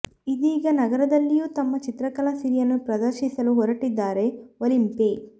ಇದೀಗ ನಗರದಲ್ಲಿಯೂ ತಮ್ಮ ಚಿತ್ರಕಲಾ ಸಿರಿಯನ್ನು ಪ್ರದರ್ಶಿ ಸಲು ಹೊರಟಿದ್ದಾರೆ ಒಲಿಂಪೆ